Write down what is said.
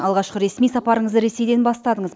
алғашқы ресми сапарыңызды ресейден бастадыңыз